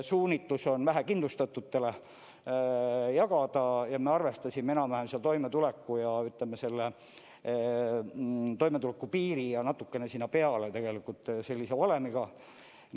Suunitlus on vähekindlustatutele jagada ja me arvestasime enam-vähem seal toimetulekupiiril ja natukene sinna peale, sellise valemiga.